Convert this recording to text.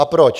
A proč?